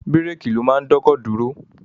Bírèèkì ló máa ń dọ́kọ̀ dúró.